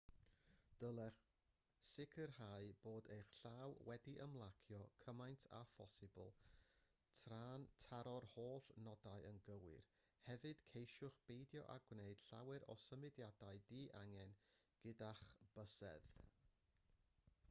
dylech sicrhau bod eich llaw wedi ymlacio cymaint â phosibl tra'n taro'r holl nodau yn gywir hefyd ceisiwch beidio â gwneud llawer o symudiadau di-angen gyda'ch bysedd